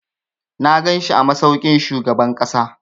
Na ganshi a masaukin shugaban ƙasa.